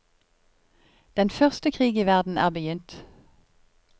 Den første krig i verden er begynt.